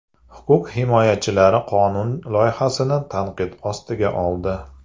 Huquq himoyachilari qonun loyihasini tanqid ostiga oldi.